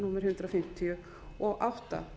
númer hundrað fimmtíu og átta